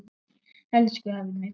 Elsku afi Muggur.